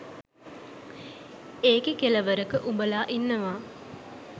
එකේ කෙළවරක උබලා ඉන්නවා